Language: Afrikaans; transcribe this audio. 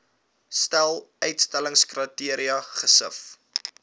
stel uitsluitingskriteria gesif